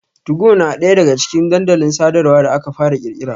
Tugo na ɗaya daga cikin dandalin sadarwa da aka fara ƙirƙira.